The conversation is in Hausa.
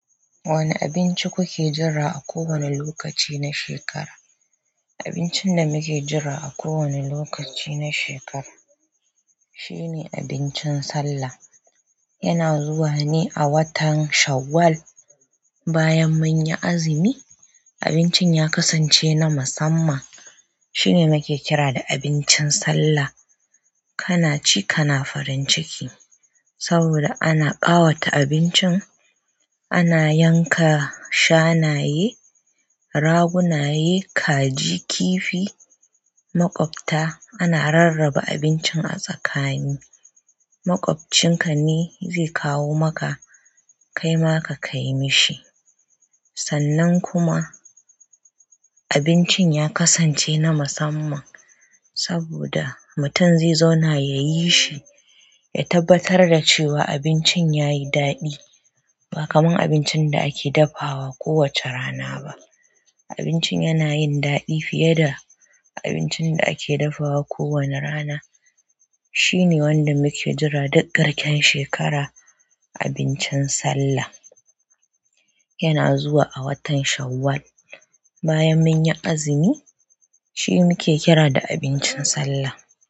Wane abinci kuke jira a kowane lokaci na shekara? Abincin da nake jira a kowane lokaci na sheka, shine abincin sallah yana zuwa ne a watan Shawwal bayan munyi azumi. Abincin ya kasance na musamman. Shine nake kira da abincin sallah kana ci, kana farin ciki saboda ana ƙawata abincin. Ana yanka shanaye, ragunaye, kaji, kifi, maƙwabta. Ana rarraba abincin a tsakani. Maƙwabcinka ne zai kawo maka, kaima ka kai mishi. Sannan kuma abincin ya kasance na musamman saboda mutum zai zauna ya yi shi, ya tabbatar da cewa abincin ya yi daɗi ba kamar abincin da ake dafawa kowace rana ba. Abincin yana yin daɗi fiye da abincin da ake dafawa kowane rana. Shine wanda muke jira duk garken shekara, abincin Sallah. Yana zuwa a watan Shawwal bayan mun yi azumi. Shi muke kira da abincin Sallah.